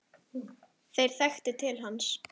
Þeir þekktu til hans.